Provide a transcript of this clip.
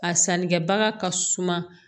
A sannikɛbaga ka suma